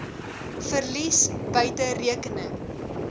verlies buite rekening